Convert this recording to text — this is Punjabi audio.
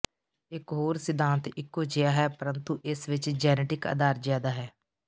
ਇਕ ਹੋਰ ਸਿਧਾਂਤ ਇਕੋ ਜਿਹਾ ਹੈ ਪਰੰਤੂ ਇਸ ਵਿੱਚ ਜੈਨੇਟਿਕ ਅਧਾਰ ਜ਼ਿਆਦਾ ਹੈ